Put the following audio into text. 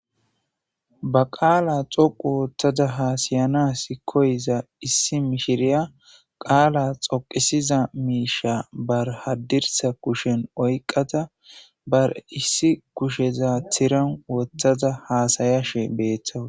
Ba qaala xoqu woottada haasayanas koyiza issi mishiriya qaala xoqisiza miisha barhaddirsa kushen oyqada bar issi kusheza tiran wotthaza haasayashe beethtawu.